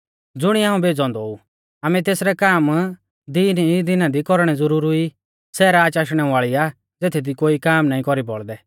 ज़ुणिऐ हाऊं भेज़ौ औन्दौ ऊ आमै तेसरै काम दिन ई दिना दी कौरणै ज़ुरुरी ई सै राच आशणै वाल़ी आ ज़ेथदी कोई काम नाईं कौरी बौल़दै